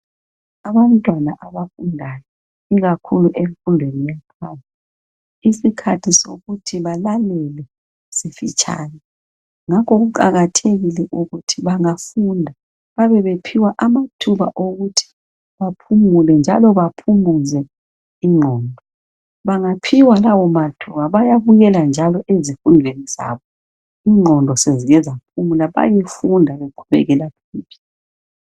Abantwana abafundayo ikakhulu emfundweni ephansi , isikhathi sokuthi balalele sifitshane , ngakho kuqakathekile ukuthi bangafunda babe bephiwa amathuba okuthi baphumule njalo baphumuze ingqondo , bangaphiwa lawo mathuba bayabuyela njalo ezifundweni zabo ingqondo sezike zaphumula , bayefunda beqhubekele phambili